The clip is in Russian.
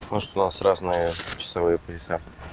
может у нас разные часовые пояса